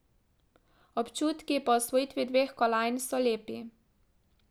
Občutki po osvojitvi dveh kolajn so lepi.